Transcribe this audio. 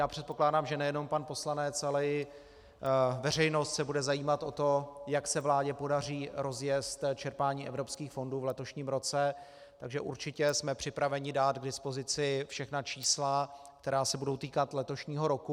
Já předpokládám, že nejenom pan poslanec, ale i veřejnost se bude zajímat o to, jak se vládě podaří rozjezd čerpání evropských fondů v letošním roce, takže určitě jsme připraveni dát k dispozici všechna čísla, která se budou týkat letošního roku.